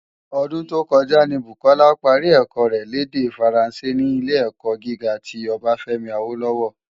Ódún tó kòjá ni Bukola pári èkò rè l' èdè Fáránsé ni Ilé-èkò gigá ti Obafemi Awolowo.